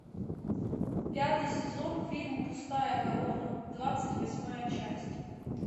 пятый сезон фильм пустая корона двадцать восьмая часть